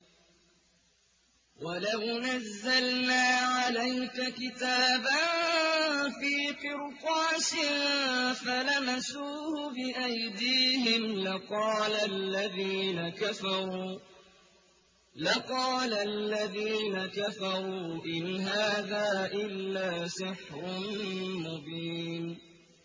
وَلَوْ نَزَّلْنَا عَلَيْكَ كِتَابًا فِي قِرْطَاسٍ فَلَمَسُوهُ بِأَيْدِيهِمْ لَقَالَ الَّذِينَ كَفَرُوا إِنْ هَٰذَا إِلَّا سِحْرٌ مُّبِينٌ